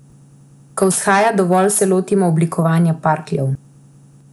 Ko vzhaja dovolj, se lotimo oblikovanja parkljev.